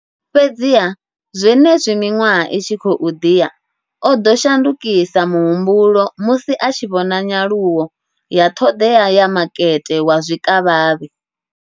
Fhedziha, zwenezwi miṅwaha i tshi khou ḓi ya, o ḓo shandukisa muhumbulo musi a tshi vhona nyaluwo ya ṱhoḓea ya makete wa zwikavhavhe.